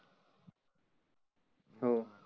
हाव